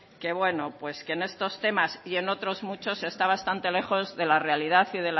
que bueno que en esto temas y en otros muchos está bastante lejos de la realidad